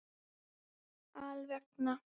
Alla vega.